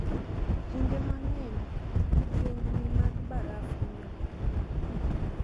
Kinde mang'eny, yiengni mag baraf hinyoga mtokni.